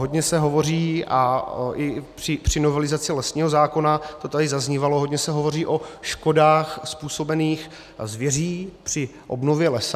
Hodně se hovoří, a i při novelizaci lesního zákona to tady zaznívalo, hodně se hovoří o škodách způsobených zvěří při obnově lesa.